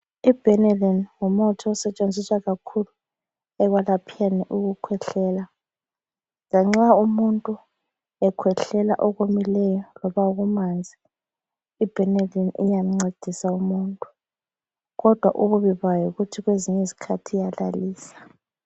IBenylin ngumuthi osetshenziswa kakhulu ekwelapheni ukukhwehlela lanxa umuntu khwehlela okumileyo loba okumanzi, ibhenilini iyamncedisa umuntu kodwa ububi bayo yikuthi kwezinye izikhathi iyalalisa.